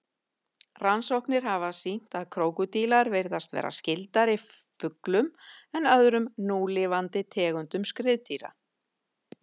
Rannsóknir hafa sýnt að krókódílar virðast vera skyldari fuglum en öðrum núlifandi tegundum skriðdýra.